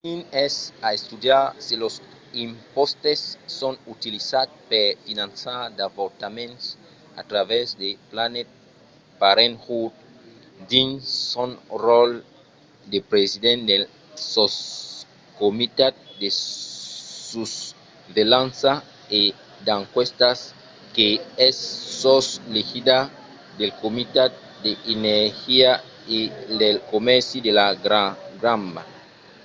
stearns es a estudiar se los impòstes son utilizats per finançar d'avortaments a travèrs de planned parenthood dins son ròtle de president del soscomitat de susvelhança e d'enquèstas qu'es sos l'egida del comitat de l'energia e del comèrci de la cambra